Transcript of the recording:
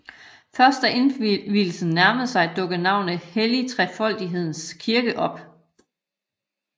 Først da indvielsen nærmede sig dukkede navnet Hellig Trefoldigheds kirke op